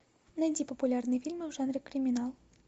найди популярные фильмы в жанре криминал